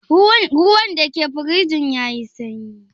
Ruwan da ke firjin ya yi sanyi?